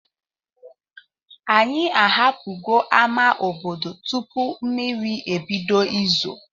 Anyị ahapụgo ama obodo tupu mmiri ebido izo.